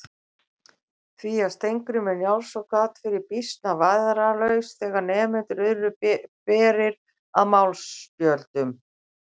Því að Skarphéðinn Njálsson gat verið býsna vægðarlaus þegar nemendur urðu berir að málspjöllum.